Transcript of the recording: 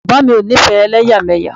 Bàbá o ńifẹ́ elẹ́yàmẹ́yà.